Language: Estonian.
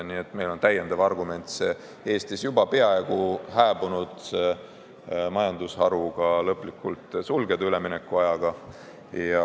Nii et meil on veel üks argument see Eestis juba peaaegu hääbunud majandusharu lõplikult sulgeda, üleminekuajaga.